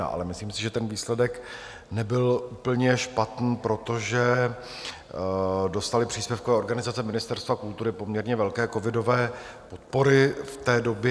Ale myslím si, že ten výsledek nebyl úplně špatný, protože dostaly příspěvkové organizace Ministerstva kultury poměrně velké covidové podpory v té době.